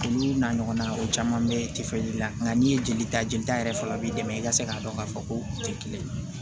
Olu n'a ɲɔgɔnaw o caman bɛ tɛfan ji la nka n'i ye jeli ta jelita yɛrɛ faga b'i dɛmɛ i ka se k'a dɔn k'a fɔ ko u tɛ kelen ye